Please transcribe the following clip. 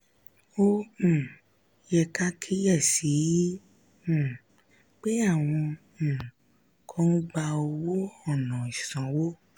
ó um yẹ ká kíyè sí i um pé àwọn um kan ń gbà owó ònà ìsanwó.